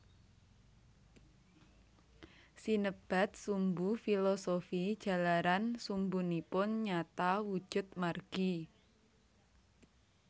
Sinebat sumbu filosofi jalaran sumbunipun nyata wujud margi